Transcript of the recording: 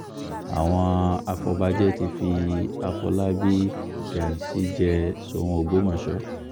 àwọn afọ̀bàjẹ́ ti fi àfọlábàbí ghansi jẹ́ sóun ògbómọṣọ